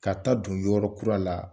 Ka ta'a don yɔrɔ kura la